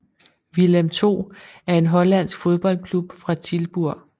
Willem II er en hollandsk fodboldklub fra Tilburg